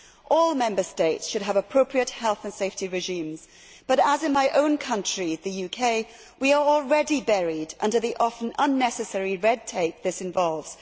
All Member States should have appropriate health and safety regimes but, just as in my own country, the UK, we are already buried under the often unnecessary red tape this involves.